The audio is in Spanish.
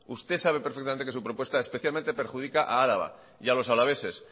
usted sabe perfectamente que su propuesta especialmente perjudica a araba y a los alaveses